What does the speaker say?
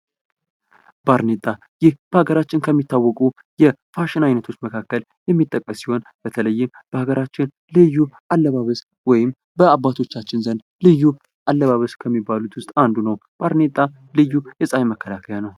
ባርኔጣ ፦ ይህ በሀገራችን የሚታወቁ የፋሽን አይነቶች መካከል የሚጠቀስ ሲሆን በተለይም በሀገራችን ልዩ አለባበስ ወይም በአባቶቻችን ዘንድ ልዩ አለባበስ ከሚባሉት ውስጥ አንዱ ነው ። ባርኔጣ ልዩ የፀሐይ መከላከያ ነው ።